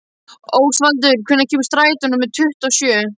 Ósvaldur, hvenær kemur strætó númer tuttugu og sjö?